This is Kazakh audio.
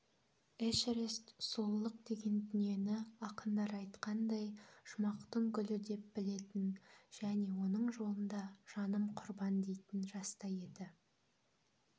эшерест сұлулық деген дүниені ақындар айтқандай жұмақтың гүлі деп білетін және оның жолында жаным құрбан дейтін жаста еді